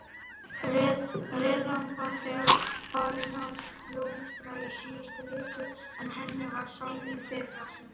Repjan var þegar farin að blómstra í síðustu viku en henni var sáð í fyrrasumar?